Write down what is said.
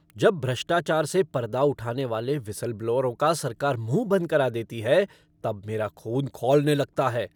जब भ्रष्टाचार से पर्दा उठाने वाले व्हिसल ब्लोअरों का सरकार मुह बंद करा देती है तब मेरा खून खौलने लगता है।